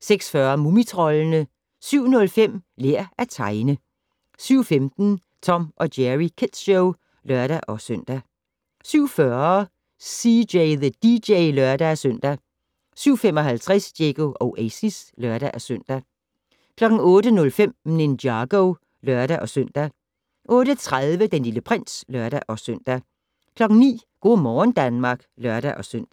06:40: Mumitroldene 07:05: Lær at tegne 07:15: Tom & Jerry Kids Show (lør-søn) 07:40: CJ the DJ (lør-søn) 07:55: Diego Oasis (lør-søn) 08:05: Ninjago (lør-søn) 08:30: Den Lille Prins (lør-søn) 09:00: Go' morgen Danmark (lør-søn)